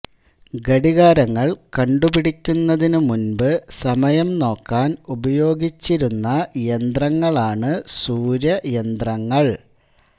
ഘടികാരങ്ങൾ കണ്ടുപിടിക്കുന്നതിനു മുൻപ് സമയം നോക്കാൻ ഉപയോഗിച്ചിരുന്ന യന്ത്രങ്ങളാണു സൂര്യയന്ത്രങ്ങൾ